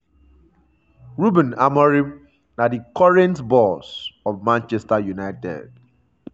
ruben amorim na di current boss of manchester united.